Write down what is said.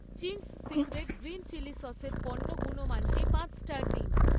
Ching's secret green chilli সসের পণ্য গুণমানকে পাঁচ স্টার দিন